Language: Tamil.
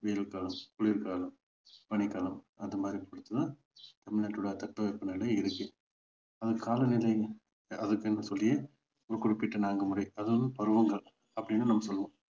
வெயில்காலம், குளிர்காலம், பனிக்காலம் அந்த மாதிரி பொறுத்து தான் தமிழ்நாட்டோட தட்பவெப்பநிலை இருக்கு அது காலநிலை அதுக்கென்று சொல்லியே ஒரு குறிப்பிட்ட நான்கு முறை அதாவது பருவங்கள் அப்படின்னும் நம்ம சொல்லுவோம்